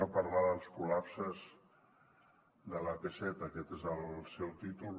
lar dels col·lapses de l’ap set aquest és el seu títol